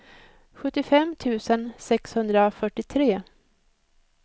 sjuttiofem tusen sexhundrafyrtiotre